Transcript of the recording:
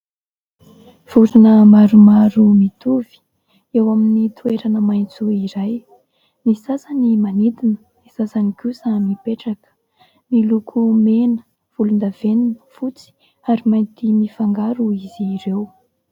Vorona maromaro mitovy eo amin'ny toerana maitso iray, ny sasany manidina ny sasany kosa mipetraka, miloko mena, volondavenona, fotsy ary mainty mifangaro izy ireo.